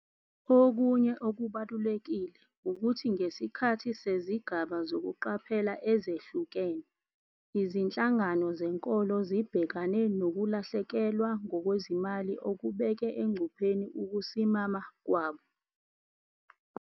Okunye okubalulekile ukuthi ngesikhathi sezigaba zokuqaphela ezehlukene, izinhlangano zenkolo zibhekane nokulahlekelwa ngokwezimali okubeke engcupheni ukusimama kwabo.